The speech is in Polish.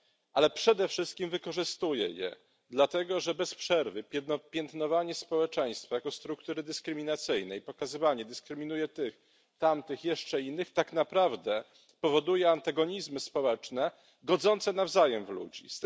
ale przede wszystkim wykorzystuje je dlatego, że piętnowanie bez przerwy społeczeństwa jako struktury dyskryminacyjnej, pokazywanie dyskryminuje tych, tamtych, jeszcze innych tak naprawdę powoduje antagonizmy społeczne godzące nawzajem w ludzi.